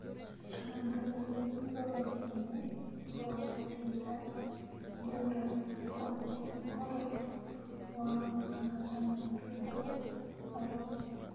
tũma ndũmīrīri rũrenda-inī rũa tũita nī ũnd ũkonĩĩ ũhoro wa ũtungata mũũru kũrĩ agũri